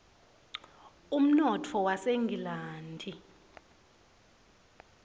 umnotfo wasengilandi